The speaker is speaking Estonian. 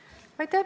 Aitäh!